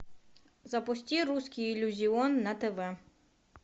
запусти русский иллюзион на тв